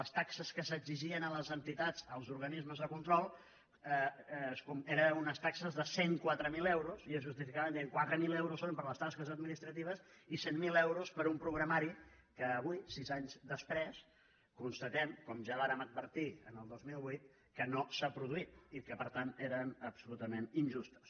les taxes que s’exigien a les entitats als organismes de control eren unes taxes de cent i quatre mil euros i es justificaven dient quatre mil euros són per a les tasques administratives i cent mil euros per a un programari que avui sis anys després constatem com ja vàrem advertir el dos mil vuit que no s’ha produït i que per tant eren absolutament injustes